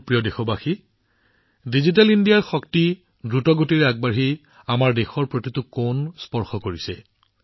মোৰ মৰমৰ দেশবাসীসকল আমাৰ দ্ৰুত গতিশীল দেশত ডিজিটেল ইণ্ডিয়াৰ শক্তি প্ৰতিটো কোণতে দৃশ্যমান